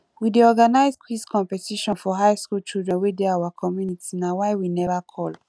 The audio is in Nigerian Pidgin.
we dey organize quiz competition for high school children wey dey our community na why we never call